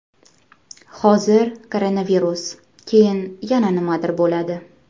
Hozir koronavirus, keyin yana nimadir bo‘ladi.